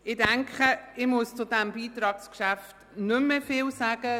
Ich denke, ich muss zu diesem Beitragsgeschäft nicht mehr viel sagen.